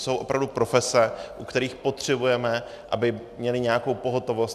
Jsou opravdu profese, u kterých potřebujeme, aby měly nějakou pohotovost.